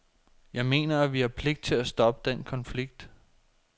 Jeg mener, at vi har pligt til at stoppe den konflikt.